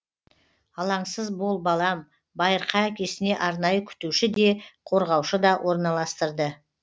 алаңсыз бол балам байырқа әкесіне арнайы күтуші де қорғаушы да орналастырды